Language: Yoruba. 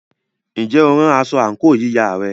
Ǹjẹ́ o rán aṣọ àǹkóò yíya rẹ?